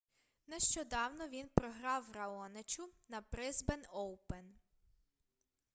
нещодавно він програв раоничу на брисбен оупен